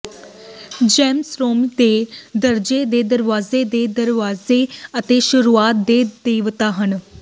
ਜੈਨਸ ਰੋਮੀ ਦੋ ਦਰਜੇ ਦੇ ਦਰਵਾਜੇ ਦੇ ਦਰਵਾਜ਼ੇ ਅਤੇ ਸ਼ੁਰੂਆਤ ਦੇ ਦੇਵਤਾ ਹਨ